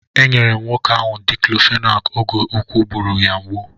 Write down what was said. E nyere m nwoke ahụ Diklofenak oge úkwù gburu ya mgbu.